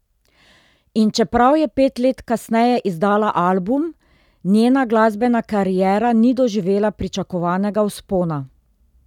In čeprav je pet let kasneje izdala album, njena glasbena kariera ni doživela pričakovanega vzpona.